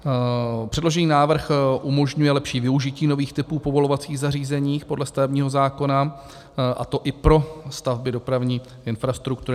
Předložený návrh umožňuje lepší využití nových typů povolovacích zařízení podle stavebního zákona, a to i pro stavby dopravní infrastruktury.